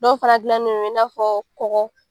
Dɔw fara gilannen don i n'a fɔ kɔkɔ .